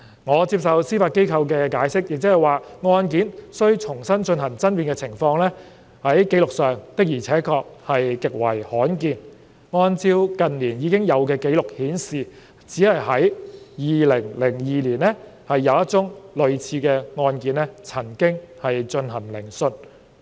我接受司法機構的解釋，亦即是案件需重新進行爭辯的情況，在紀錄上的確極為罕見；近年已有的紀錄顯示，只在2002年有1宗類似的案件曾經進行聆訊。